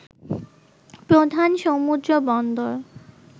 প্রধান সমুদ্র বন্দর